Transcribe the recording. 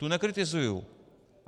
Tu nekritizuju.